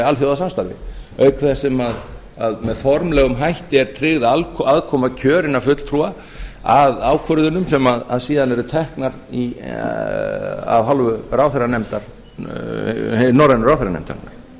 alþjóðasamstarfi auk þess sem með formlegum hætti er tryggð aðkoma kjörinna fulltrúa að ákvörðunum sem síðan eru teknar af hálfu norrænu ráðherranefndarinnar